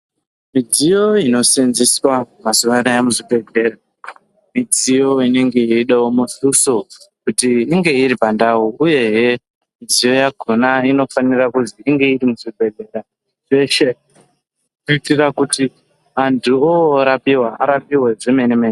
Midziyo inoseenzeswa mazuwa anaa muzvibhedhlera midziyo inenge yeidawo mutuso kuti inge iri pandau uyehe midziyo yakhona inofanirwa kuti inge iri muzvibhedhlera zveshe yeidetsera kuti antu orapiwa arapiwe zvemene mene.